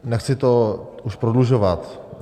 Nechci to už prodlužovat.